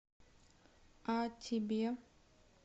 а тебе